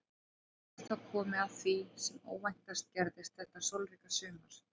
Og er þá komið að því sem óvæntast gerðist þetta sólríka sumar.